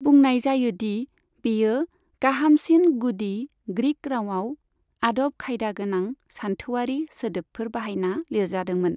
बुंनाय जायो दि बेयो गाहामसिन गुदि ग्रीक रावआव आदब खायदा गोनां सानथौआरि सोदोबफोर बाहायना लिरजादोंमोन।